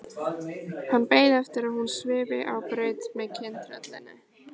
Hann beið eftir að hún svifi á braut með kyntröllinu.